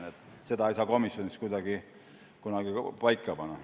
Aga seda kõike ei saa komisjonis kuidagi paika panna.